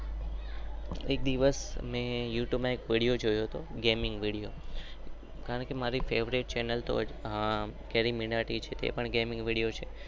એક દિવસ અમે યુતુબે માં એક વીડિઓ જોયો હતો.